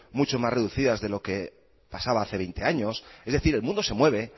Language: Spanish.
mucho más reducidas de lo que pasaba hace veinte años es decir el mundo se mueve